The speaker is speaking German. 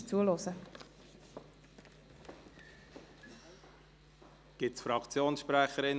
Wir kommen zu den Geschäften der JGK.